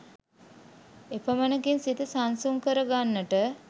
එපමණකින්ම සිත සංසුන් කරගන්ට